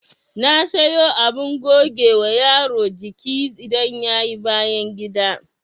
Na sayo abin gogewa yaro jiki idan yayi bayangida